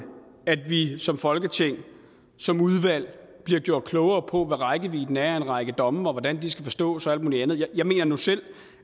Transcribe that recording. at vi som folketing som udvalg bliver gjort klogere på hvad rækkevidden er af en række domme og hvordan de skal forstås og alt muligt andet jeg mener nu selv